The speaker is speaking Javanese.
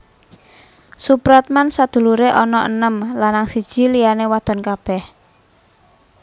Soepratman sedulure ana enem lanang siji liyane wadon kabeh